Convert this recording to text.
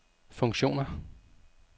funktioner